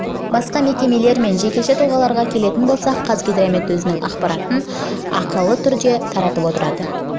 басқа мекемелер мен жекеше тұлғаларға келетін болсақ қазгидромет өзінің ақпараттық жарияланымдар ақылы негізде таратып отырады